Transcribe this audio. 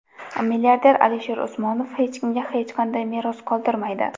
Milliarder Alisher Usmonov hech kimga hech qanday meros qoldirmaydi.